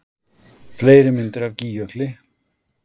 Fleiri myndir af Gígjökli